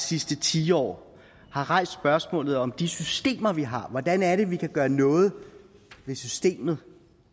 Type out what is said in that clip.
sidste tiår har rejst spørgsmål om de systemer vi har hvordan er det vi kan gøre noget ved systemerne